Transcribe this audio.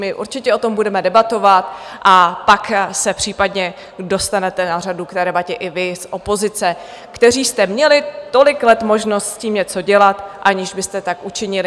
My určitě o tom budeme debatovat a pak se případně dostanete na řadu k té debatě i vy z opozice, kteří jste měli tolik let možnost s tím něco dělat, aniž byste tak učinili.